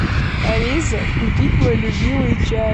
алиса купить мой любимый чай